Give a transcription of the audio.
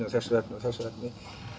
og þessu efni og þessu efni